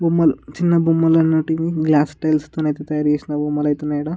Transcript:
బొమ్మలు చిన్న బొమ్మలు అన్ని ఉంటివి గ్లాస్ టైల్స్ తోనయితే తయారు చేసిన బొమ్మలు అయితే ఉన్నాయి ఈడ.